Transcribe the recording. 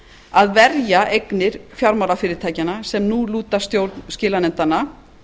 að verja eignir fjármálafyrirtækjanna sem nú lúta stjórn skilanefndanna